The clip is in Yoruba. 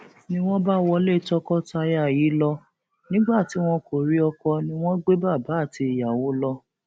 ni wọn bá wọlé tọkọtaya yìí lọ nígbà tí wọn kò rí ọkọ ni wọn gbé bàbá àti ìyàwó lọ